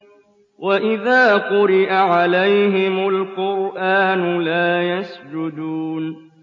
وَإِذَا قُرِئَ عَلَيْهِمُ الْقُرْآنُ لَا يَسْجُدُونَ ۩